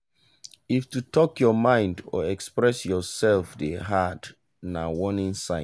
if to talk your mind or express yourself dey hard na warning sign.